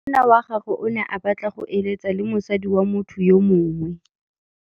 Monna wa gagwe o ne a batla go êlêtsa le mosadi wa motho yo mongwe.